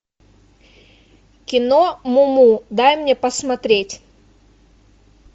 кино муму дай мне посмотреть